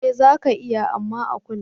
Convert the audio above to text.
Eh zaka iya, amma a kula.